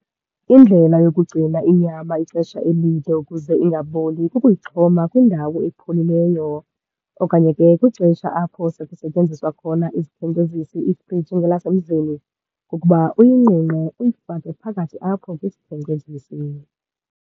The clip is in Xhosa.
Indlela yokugcina inyama ixesha elide ukuze ingaboli kukuyixhoma kwindawo epholileyo. Okanye ke kwixesha apho sekusetyenziswa khona izikhenkcezisi, iifriji ngelasemzini, kukuba uyinqunqe uyifake phakathi apho kwisikhenkcezisi.